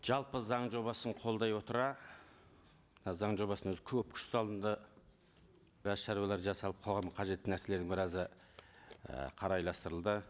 жалпы заң жобасын қолдай отыра заң жобасына өзі көп күш салынды біраз шаруалар жасалып қалған қажетті нәрселердің біразы і қарайластырылды